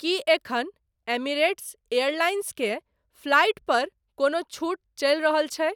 की एखन Emirates Airlines के flight पर कोनो छूट चलि रहल छै?